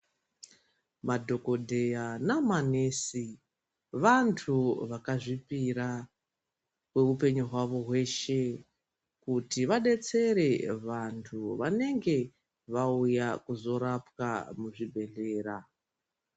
Madhogodheya namanesi vantu vakazviopira kweupenyu hwavo hweshe. Kuti vabetsere vantu vanenge vauya kuzorapwa muzvibhedhlera.